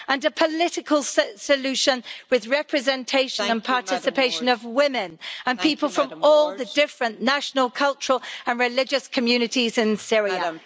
and a political solution with representation and participation of women and people from all the different national cultural and religious communities in Syria. We need...